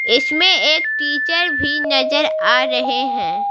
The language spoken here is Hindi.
इसमें एक टीचर भी नजर आ रहे हैं।